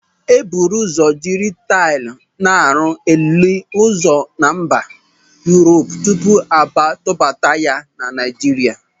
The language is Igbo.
E buru ụzọ jiri taịl na-arụ ili ozu na Mba Yurop tupu a tubata ha na Naịjirịa.